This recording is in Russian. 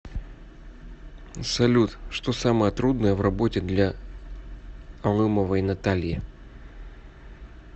салют что самое трудное в работе для алымовой натальи